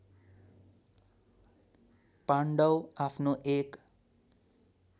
पाण्डव आफ्नो एक